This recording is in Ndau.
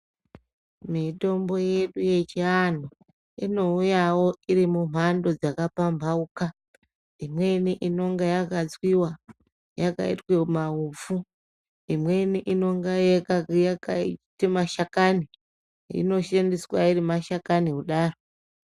Mitombo yedu yechiantu inouyawo iri mumhando dzaka pambaukana imweni inonga yakatswiwa yakaitwa maupfu imweni inenga yakaita mashakani inoshandiswa iri mashakani kudaro.